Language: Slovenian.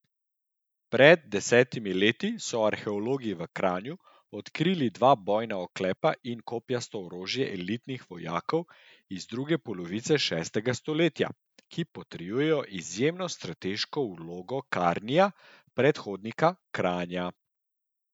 Pred desetimi leti so arheologi v Kranju odkrili dva bojna oklepa in kopjasto orožje elitnih vojakov iz druge polovice šestega stoletja, ki potrjujejo izjemno strateško vlogo Karnija, predhodnika Kranja.